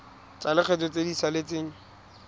tsa lekgetho tse di saletseng